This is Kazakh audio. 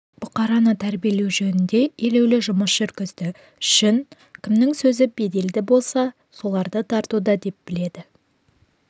бұқараны тәрбиелеу жөнінде елеулі жұмыс жүргізді үшін кімнің сөзі беделді болса соларды тартуда деп біледі